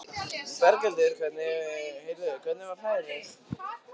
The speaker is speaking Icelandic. Berghildur: Heyrðu, hvernig var færið?